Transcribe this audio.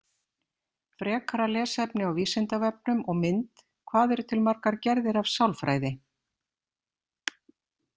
Frekara lesefni á Vísindavefnum og mynd Hvað eru til margar gerðir af sálfræði?